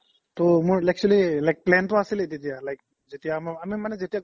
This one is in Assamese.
ত মই actually plan তো আছৈলে তেতিয়া like আমি মানে যেতিয়া